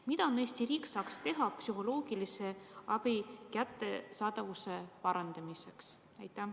Mida Eesti riik saaks teha psühholoogilise abi kättesaadavuse parandamiseks?